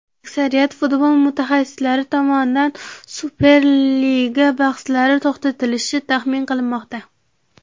Aksariyat futbol mutaxassislari tomonidan Superliga bahslari to‘xtatilishi taxmin qilinmoqda.